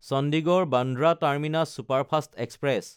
Chandigarh-Bandra terminus superfast express